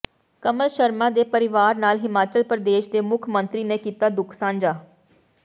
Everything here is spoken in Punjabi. ਕਮਲ ਸ਼ਰਮਾ ਦੇ ਪਰਿਵਾਰ ਨਾਲ ਹਿਮਾਚਲ ਪ੍ਰਦੇਸ਼ ਦੇ ਮੁੱਖ ਮੰਤਰੀ ਨੇ ਕੀਤਾ ਦੁੱਖ ਸਾਂਝਾ